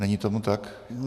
Není tomu tak?